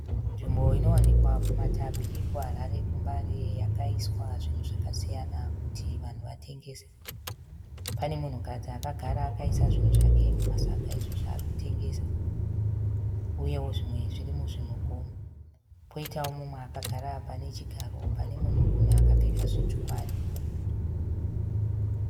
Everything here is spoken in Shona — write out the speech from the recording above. Nzvimbo inowanikwa kumatapi kuHarare kumbare yakaiswa zvinhu zvakasiyana kuti vanhu vatengese. Pane munhukadzi agara akaisa zvinhu zvake mumasaga izvo zvaaritengesa, uyewo zvimwe zviri muzvimugomo. Pane mumwe agara pane chigaro pane munhurume akapfeka zvitsvuku aripo.